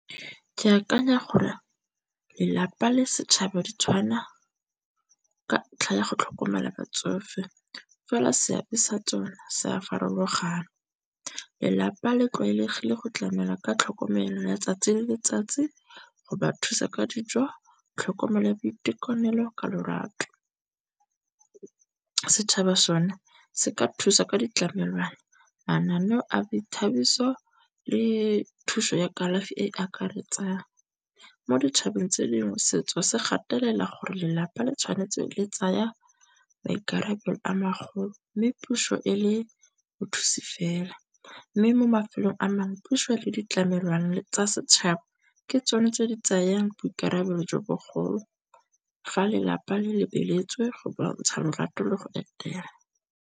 Ke akanya gore lelapa le setšhaba ditshwana ka ntlha ya go tlhokomela batsofe fela seabe sa tsone se a farologana. Lelapa le tlwaelegile go tlamela ka tlhokomelo ya tsatsi le letsatsi go ba thusa ka dijo, tlhokomelo ya boitekanelo ka lorato. Setšhaba sone se ka thusa ka ditlamelwana, mananeo a boithabiso le thuso ya kalafi e e akaretsang. Mo ditšhabeng tse dingwe setso se gatelela gore lelapa le tshwanetse le tsaya maikarabelo a magolo, mme puso e le bothusi fela. Mme mo mafelong a mangwe puso le ditlamelwana tsa setšhaba ke tsone tse di tsayang boikarabelo jo bogolo fa lelapa le lebeletswe go bontsha lorato le go etela.